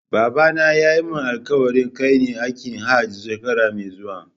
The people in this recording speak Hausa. Babana ya yi alƙawarin kai ni aikin Hajji shekara mai zuwa.